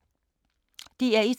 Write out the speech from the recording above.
DR1